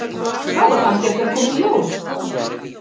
Það á kannski eftir að koma í ljós.